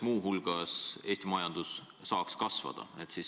Muu hulgas ka selleks, et Eesti majandus saaks kasvada.